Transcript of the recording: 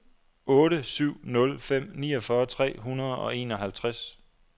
otte syv nul fem niogfyrre tre hundrede og enoghalvtreds